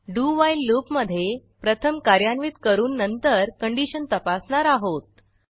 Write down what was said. do while loop मधे प्रथम कार्यान्वित करून नंतर कंडिशन तपासणार आहोत